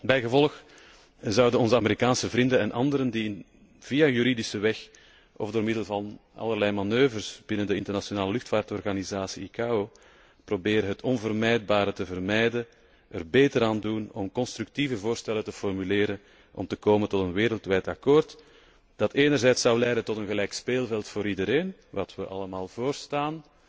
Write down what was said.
Bijgevolg zouden onze Amerikaanse vrienden en anderen die via juridische weg of door middel van allerlei manoeuvres binnen de internationale luchtvaartorganisatie ICAO proberen het onvermijdbare te vermijden, er beter aan doen om constructieve voorstellen te formuleren om te komen tot een wereldwijd akkoord, dat enerzijds zou leiden tot een gelijk speelveld voor iedereen, iets wat wij allen voorstaan,